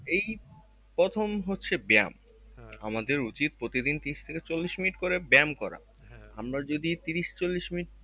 এই প্রথম হচ্ছে ব্যায়াম আমাদের উচিত প্রতিদিন তিরিশ থেকে চল্লিশ minute করে ব্যায়াম করা আমরা যদি তিরিশ চল্লিশ মিনিট